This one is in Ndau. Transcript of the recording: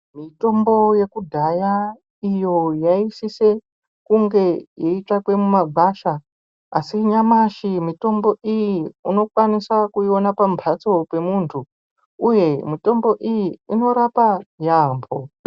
Mitombo yekudhaya iyo yaisise kunge yeitsvakwe mumagwasha, asi nyamashi mitombo iyi unokwanisa kuiona pamhatso pemuntu uye mitombo iyi inorapa yaamho.